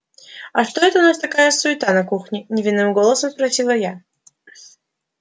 а что это у нас такая суета на кухне невинным голосом спросила я